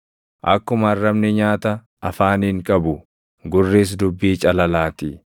Akkuma arrabni nyaata afaaniin qabu, gurris dubbii calalaatii.